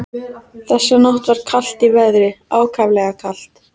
Þessa nótt var kalt í veðri, ákaflega kalt.